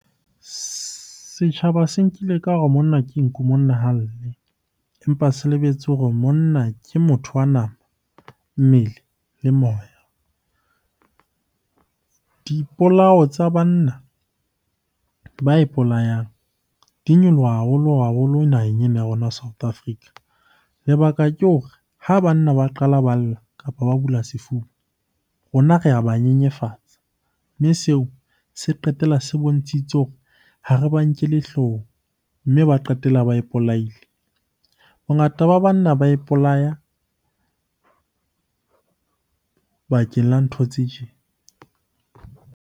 Setjhaba se nkile ka hore monna ke nku monna ha lle, empa se lebetse hore monna ke motho wa nama, mmele le moya. Dipolao tsa banna ba ipolayang di nyoloha haholo-haholo naheng ena ya rona South Africa. Lebaka ke hore ha banna ba qala ba lla, kapa ba bula sefuba rona re a ba nyenyefatsa. Mme seo se qetella se bontshitse hore ha re ba nkelle hloohong, mme ba qetella ba ipolaile. Bongata ba banna ba ipolaya bakeng la ntho tse tjena.